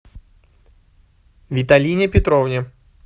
виталине петровне